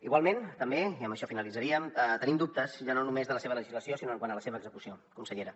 igualment també i amb això finalitzaríem tenim dubtes ja no només de la seva legislació sinó quant a la seva execució consellera